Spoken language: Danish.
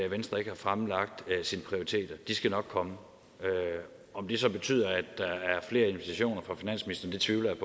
venstre ikke har fremlagt sine prioriteter de skal nok komme om det så betyder at der er flere invitationer fra finansministeren tvivler jeg